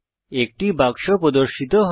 একটি বাক্স প্রদর্শিত হয়